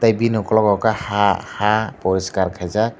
bini ukologo ke ha ha poriskar khaijak.